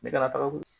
Ne ka taga